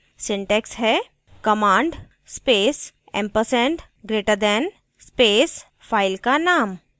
syntax हैः command space ampersand greater than space file का नाम